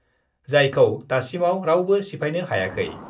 जायखौ दासिमाव रावबो सिफायनो हायाखै।